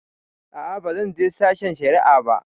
A'a ba zan je sashen shari'a ba.